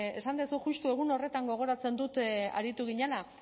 esan duzu justu egun horretan gogoratzen dut aritu ginela